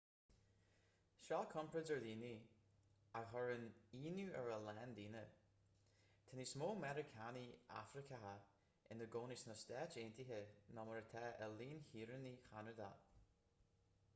seo comparáid ar dhaonraí a chuireann íonadh ar a lán daoine tá níos mó meiriceánaigh afracacha ina gcónaí sna stáit aontaithe ná mar atá i líon shaoránaigh cheanada